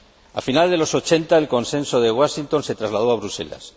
A finales de los ochenta, el Consenso de Washington se trasladó a Bruselas.